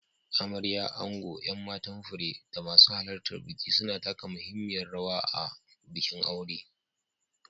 Amarya, ango, 'yan matan fure, da masu halartar biki suna taka muhimmiyar rawa a bikin aure.